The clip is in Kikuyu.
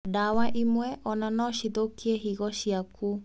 Ndawa imwe ona nocithũkie higo ciaku